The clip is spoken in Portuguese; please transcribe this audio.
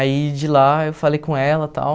Aí de lá eu falei com ela, tal.